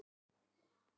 Greitt er þar úr málum.